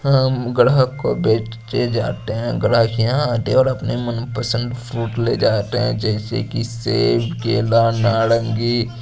हम ग्राहक को बेचे जाते है ग्राहक यहां आते हैं और अपने मन पसंद फ्रूट ले जाते है जैसे की सेब केला नारंगी--